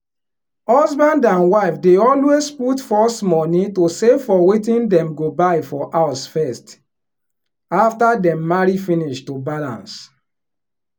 husband and wife dey always put first money to save for wetin dem go buy for house first after dem marry finish to balance